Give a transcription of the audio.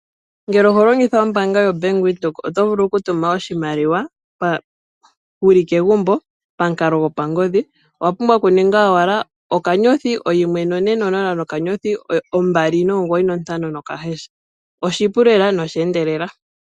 Ngele oho longitha ombaanga yoBank Windhoek oto vulu oku tuma oshimaliwa wuli megumbo pamukalo gopangodhi oto ningi owala *140*295# oshipu lela nosha endelela.